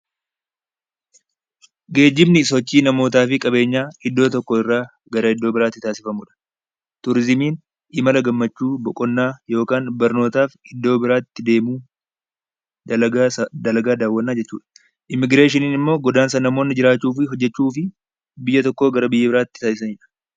Geejjibni sochii namootaafi qabeenyaa iddoo tokkorraa gara iddoo biraatti taasifamudha. Turizimiin imala gammachuu yookaan barnootaaf iddoo biraatti deemuu dalagaa daawwannaa jechuudha. Immigireeshiniin immoo godaansa namoonni jiraachuufi hojjachuufi biyya tokkoo gara biyya biraatti taasisanidha.